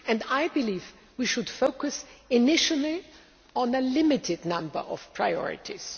I believe we should focus initially on a limited number of priorities.